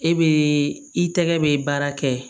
E be i tɛgɛ be baara kɛ